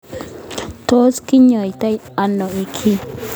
Tos kinyoitoi ano kii?